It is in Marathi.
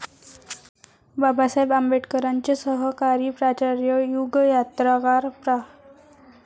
बाबासाहेब आंबेडकरांचे सहकारी प्राचार्य 'युगयात्रा'कार प्रा.